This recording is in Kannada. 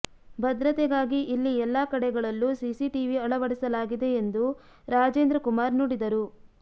ಭದ್ರತೆಗಾಗಿ ಇಲ್ಲಿ ಎಲ್ಲಾ ಕಡೆಗಳಲ್ಲೂ ಸಿಸಿಟಿವಿ ಅಳವಡಿಸಲಾಗಿದೆ ಎಂದು ರಾಜೇಂದ್ರಕುಮಾರ್ ನುಡಿದರು